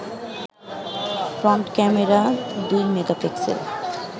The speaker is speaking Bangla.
ফ্রন্ট ক্যামেরা দুই মেগাপিক্সেল